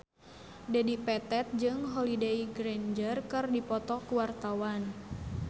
Dedi Petet jeung Holliday Grainger keur dipoto ku wartawan